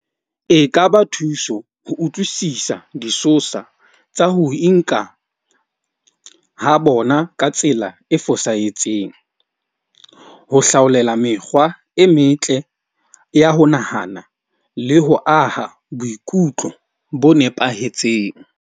E kaba thuso ho utlwisisa disosa tsa ho inka ha bona ka tsela e fosahetseng. Ho hlaolela mekgwa e metle ya ho nahana le ho aha boikutlo bo nepahetseng.